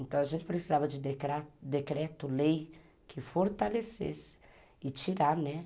Então a gente precisava de decreto, lei que fortalecesse e tirar, né?